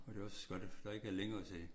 Og det også godt at der ikke er længere til